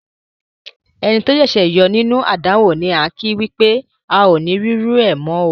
Ẹni tó ṣẹ̀ṣẹ̀ yọ nínú àdánwò ni án kí wípé "ao ni rírú ẹ̀ mọ̀ oo".